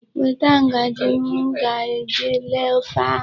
Weta ngaji m ga-eji lee ofe ahụ.